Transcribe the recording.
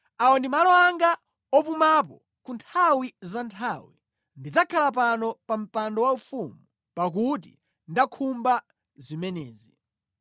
“Awa ndi malo anga opumapo ku nthawi za nthawi; ndidzakhala pano pa mpando waufumu, pakuti ndakhumba zimenezi.